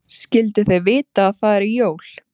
Skyldu þau vita að það eru jól?